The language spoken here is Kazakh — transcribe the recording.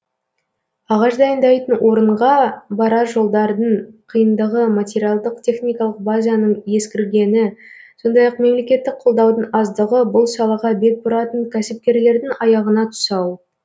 ағаш дайындайтын орынға барар жолдардың қиындығы материалдық техникалық базаның ескіргені сондай ақ мемлекеттік қолдаудың аздығы бұл салаға бет бұратын кәсіпкерлердің аяғына тұсау